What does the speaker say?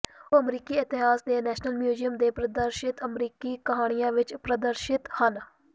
ਉਹ ਅਮਰੀਕੀ ਇਤਿਹਾਸ ਦੇ ਨੈਸ਼ਨਲ ਮਿਊਜ਼ੀਅਮ ਦੇ ਪ੍ਰਦਰਸ਼ਿਤ ਅਮਰੀਕੀ ਕਹਾਣੀਆਂ ਵਿਚ ਪ੍ਰਦਰਸ਼ਿਤ ਹਨ